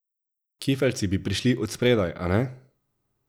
Kifeljci bi prišli od spredaj, a ne?